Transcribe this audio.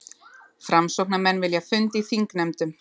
Framsóknarmenn vilja fund í þingnefndum